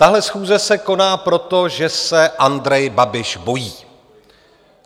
Tahle schůze se koná proto, že se Andrej Babiš bojí.